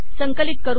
संकलित केले